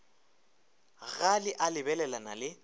ga le a lebelelana le